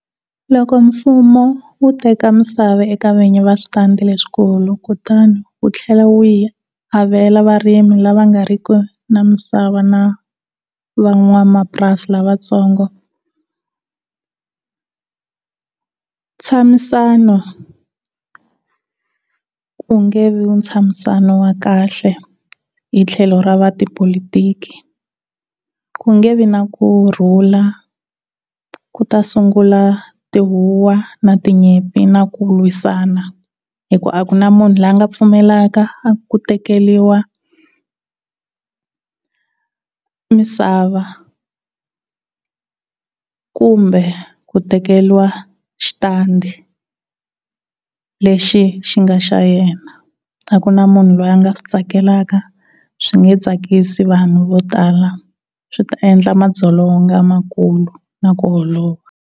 Loko mfumo wu teka misava eka vinyi va switandi leswikulu kutani wu tlhela wu yi avela varimi lava nga ri ki na misava na van'wamapurasi lavatsongo ntshamisano wu nge vi ntshamisano wa kahle hi tlhelo ra va tipolotiki ku nge vi na kurhula, ku ta sungula tihuwa na tinyimpi na ku lwisana hi ku akuna munhu la nga pfumelaka ku tekeriwa misava kumbe ku tekeriwa xitandi lexi xi nga xa yena, a ku na munhu la nga swi tsakelaka, swi nge tsakisi vanhu vo tala. Swi ta endla madzolonga na ku lwa na ku holova.